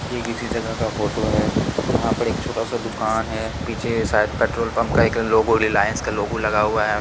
ये किसी जगह का फोटो है जहां पर एक छोटा सा दुकान है पीछे शायद पेट्रोल पंप का लोगो रिलायंस का लोगो लगा हुआ है।